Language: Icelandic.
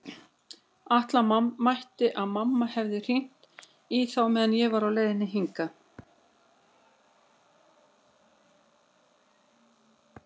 Ætla mætti að mamma hefði hringt í þá meðan ég var á leiðinni hingað.